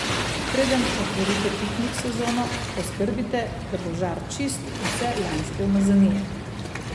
Preden otvorite piknik sezono, poskrbite, da bo žar čist vse lanske umazanije.